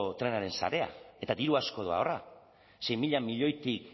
trenaren sarea eta diru asko doa horra sei mila milioitik